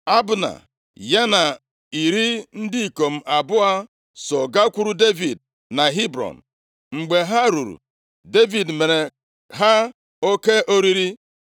Abna, ya na iri ndị ikom abụọ so gakwuru Devid na Hebrọn. Mgbe ha ruru, Devid meere ha oke oriri.